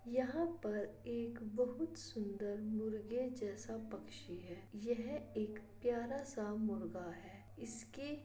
यहाँ पर एक बहुत सुन्दर मुर्गे जैसा पक्षी है यह एक प्यारा सा मुर्गा है इसके --